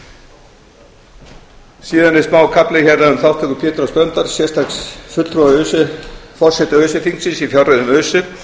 síðan er smákafli hérna um þátttöku péturs h blöndals sérstaks fulltrúa forseta öse þingsins í fjárreiðum öse